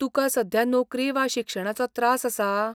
तुका सध्या नोकरी वा शिक्षणाचो त्रास आसा?